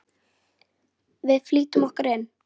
Við flýtum okkur inn.